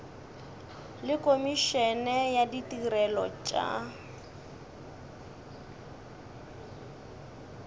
le komišene ya ditirelo tša